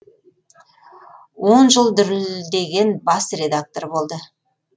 он жыл дүрілдеген бас редактор болды